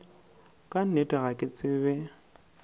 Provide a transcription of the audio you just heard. ka nnete ga ke tsebe